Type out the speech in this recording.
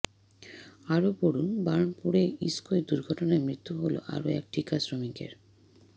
আরও পড়ুন বার্নপুরে ইস্কোয় দুর্ঘটনায় মৃত্যু হল আরও এক ঠিকা শ্রমিকের